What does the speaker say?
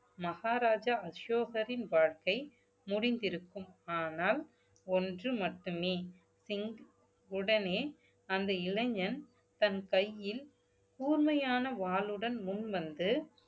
மகாராஜா அசோகரின் வாழ்க்கை முடிந்திருக்கும் ஆனால் ஒன்று மட்டுமே சிங்~ உடனே அந்த இளைஞன் தன் கையில் கூர்மையான வாளுடன் முன்வந்து